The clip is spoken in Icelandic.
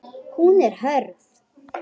Hún er hörð.